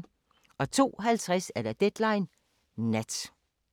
02:50: Deadline Nat